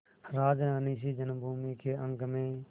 राजरानीसी जन्मभूमि के अंक में